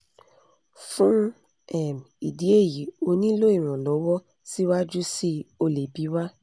fún um ìdí èyí o nílò ìrànlọ́wọ́ síwájú síi o lè bi wá